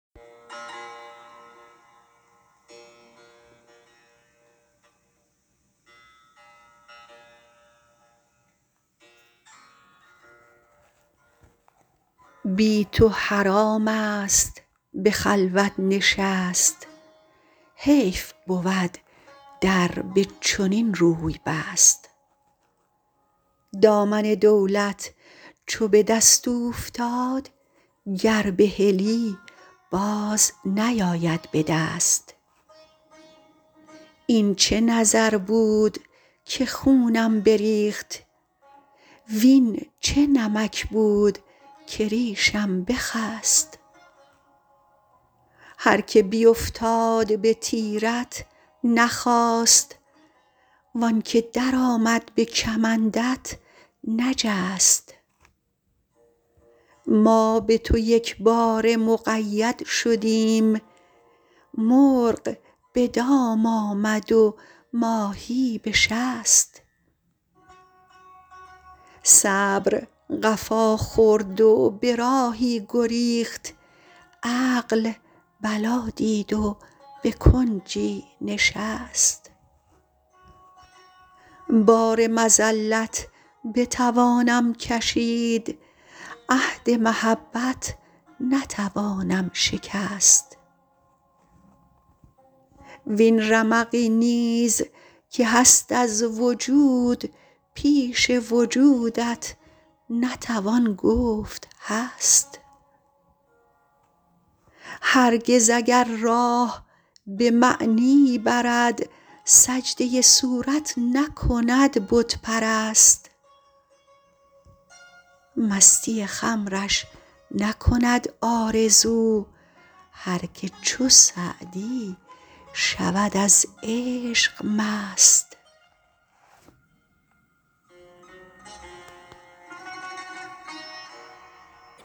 بی تو حرام است به خلوت نشست حیف بود در به چنین روی بست دامن دولت چو به دست اوفتاد گر بهلی باز نیاید به دست این چه نظر بود که خونم بریخت وین چه نمک بود که ریشم بخست هر که بیفتاد به تیرت نخاست وان که درآمد به کمندت نجست ما به تو یکباره مقید شدیم مرغ به دام آمد و ماهی به شست صبر قفا خورد و به راهی گریخت عقل بلا دید و به کنجی نشست بار مذلت بتوانم کشید عهد محبت نتوانم شکست وین رمقی نیز که هست از وجود پیش وجودت نتوان گفت هست هرگز اگر راه به معنی برد سجده صورت نکند بت پرست مستی خمرش نکند آرزو هر که چو سعدی شود از عشق مست